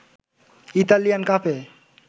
Italian কাপে